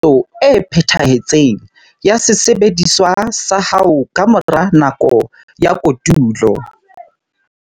Etsa tekanyetso e phethahetseng ya sesebediswa sa hao ka mora nako ya kotulo.